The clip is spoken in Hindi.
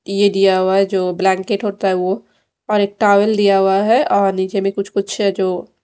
ये दिया हुआ जो ब्लैंकेट होता है वो और एक टॉवल दिया हुआ है और नीचे में कुछ कुछ है जो--